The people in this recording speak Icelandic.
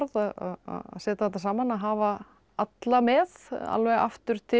að setja þetta saman að hafa alla með alveg aftur til